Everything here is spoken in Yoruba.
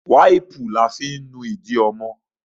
Wàipu la fi ń nu ídì ọmọ